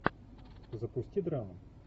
запусти драму